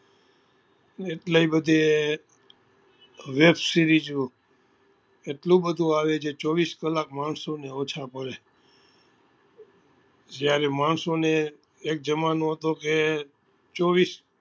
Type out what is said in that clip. એટલી બધી web series ઓ એટલું બધું આવે જે ચોવીસ કલાક માણસો ને ઓછા પડે જ્યારે માણસો ને એક જમાનો હતો કે ચોવીસ